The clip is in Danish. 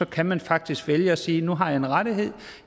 kan man faktisk vælge at sige nu har jeg en rettighed